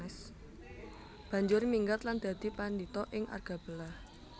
Banjur minggat lan dadi padhita ing Argabelah